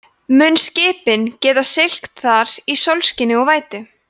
mun skipin geta siglt þar í sólskini og vætu